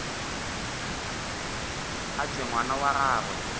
a tšwe ngwana wa gagwe